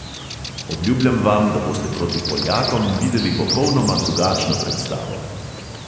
Obljubljam vam, da boste proti poljakom videli popolnoma drugačno predstavo.